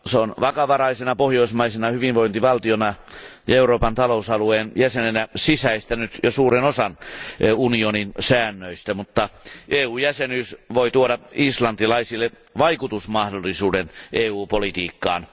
Se on vakavaraisena pohjoismaisena hyvinvointivaltiona ja Euroopan talousalueen jäsenenä sisäistänyt jo suuren osan unionin säännöistä, mutta EU jäsenyys voi tuoda islantilaisille vaikutusmahdollisuuden EU politiikkaan.